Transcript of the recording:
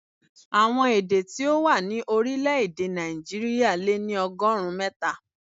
Àwọn èdè tí ó wà ní orílè-èdè Nàìjíríà lé ní ọgọ́rùn-ún mẹ́ta.